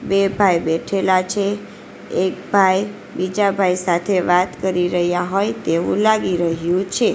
બે ભાઈ બેઠેલા છે એક ભાઈ બીજા ભાઈ સાથે વાત કરી રહ્યા હોય તેવું લાગી રહ્યું છે.